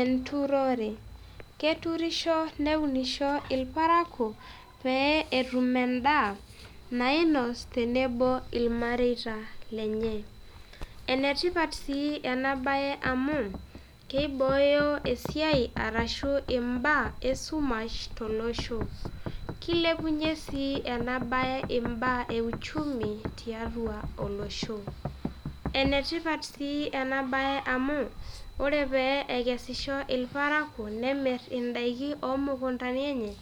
enturore, keturisho ,neunisho irparakuo pee etum edaa nainos tenebo ilmareita lenye. ene tipat sii ena bae amu keibooyo esiai arashu ibaa esumash tolosho. kilepunye sii ena bae ibaa euchumitia tua olosho. enetipat sii ena bae amu ore pee ekesisho ilparakuo nemir idaiki oomukuntani enye